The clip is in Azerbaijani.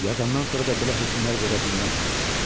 Yazandan sonra da belə hökmlər verə bilməz.